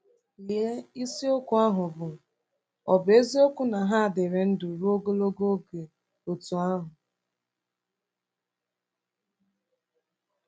Lee isiokwu ahụ bụ́ “Ọ̀ Bụ Eziokwu na Ha Dịrị Ndụ Ruo Ogologo Oge Otú Ahụ?”